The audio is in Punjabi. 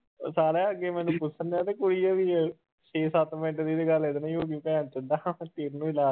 ਸਾਲਿਆ ਅੱਗੇ ਮੈਨੂੰ ਪੁੱਛਣਡਿਆ ਵੀ ਕੋਈ ਵੀ ਛੇ ਸੱਤ ਮਿੰਟ ਦੀ ਤੇ ਗੱਲ ਇਹਦੇ ਨਾਲ ਹੀ ਹੋ ਗਈ ਭੈਣ ਚੋਦਾ